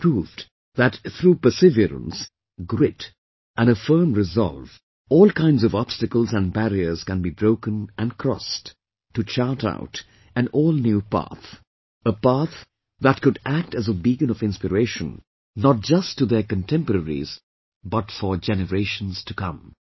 They proved that through perseverance, grit and a firm resolve, all kinds of obstacles and barriers can be broken & crossed, to chart out an all new path... a path that could act as a beacon of inspiration not just to their contemporaries, but for generations to come